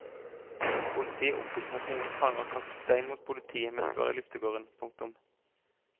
Politiet opplyser at noen fanger kastet stein mot politiet mens de var i luftegården. punktum